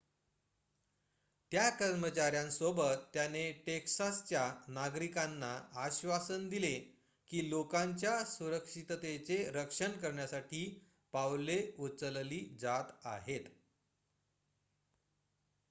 त्या कर्मचाऱ्यांसोबत त्याने टेक्सासच्या नागरिकांना आश्वासन दिले की लोकांच्या सुरक्षिततेचे रक्षण करण्यासाठी पावले उचलली जात आहेत